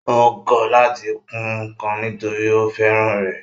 Ó ń kọ́ láti kun ǹkan nítòrí ó fẹ́ràn rẹ̀